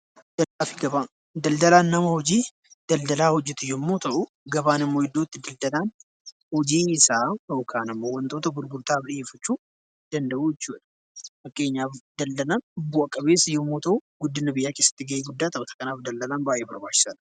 Daldalaan nama hojii daldalaa hojjetu yommuu ta'u, gabaan immoo iddoo itti daldalaan hojii isaa yookaan ammoo wantoota gurgurtaaf dhiyeeffachuu danda'u jechuudha. Fakkeenyaaf daldalaan bu'a qabeessa yommuu ta'u, guddina biyyaa keessatti gahee guddaa taphata. Kanaaf daldalaan baay'ee barbaachisaadha.